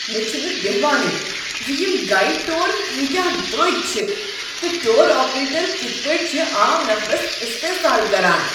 مےٚ چھنہٕ بٮ۪ہوانٕے ز یم گایڈڈ ٹور کٲتیٖٛاہ دروٚگۍ چھ تہٕ ٹور آپریٹر کتھ پٲٹھۍ چھ عام نفرس اصتحسال كران ۔